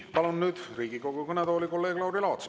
Palun nüüd Riigikogu kõnetooli kolleeg Lauri Laatsi.